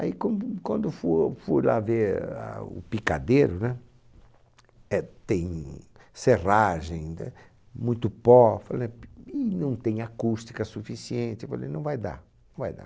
Aí quando, quando for fui lá ver a o picadeiro, né? Eh, tem serragem, né? Muito pó, p, e não tem acústica suficiente, eu falei, não vai dar, não vai dar.